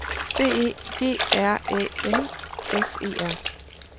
B E G R Æ N S E R